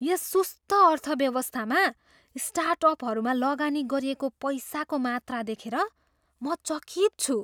यस सुस्त अर्थव्यवस्थामा स्टार्टअपहरूमा लगानी गरिएको पैसाको मात्रा देखेर म चकित छु।